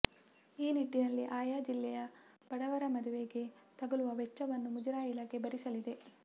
ಈ ನಿಟ್ಟಿನಲ್ಲಿ ಆಯಾ ಜಿಲ್ಲೆಯ ಬಡವರ ಮದುವೆಗೆ ತಗ ಲುವ ವೆಚ್ಚವನ್ನು ಮುಜರಾಯಿ ಇಲಾಖೆ ಭರಿಸ ಲಿದೆ